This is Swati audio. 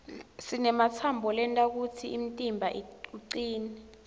sinematsambo lenta kutsi umtimba ucine